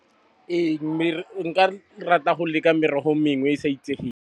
Ee nka rata go leka merogo mengwe e sa itsegeng.